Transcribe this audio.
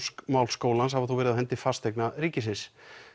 skólans hafa þó verið á hendi Fasteigna ríkisins